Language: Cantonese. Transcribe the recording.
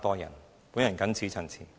我謹此陳辭。